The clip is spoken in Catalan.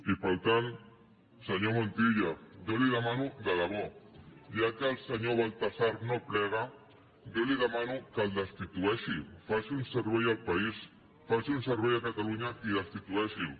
i per tant senyor montilla jo li ho demano de debò ja que el senyor baltasar no plega jo li demano que el destitueixi faci un servei al país faci un servei a catalunya i destitueixi’l